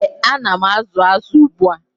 ee,A na m azụ azụ ugbu a.